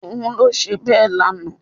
Òun ló ṣe bẹ́ẹ̀ lánàá